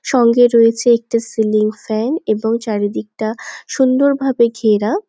সঙ্গে রয়েছে একটা সিলিং ফ্যান এবং চারিদিকটা সুন্দরভাবে ঘেরা।